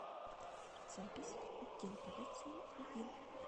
запись отдел полиции один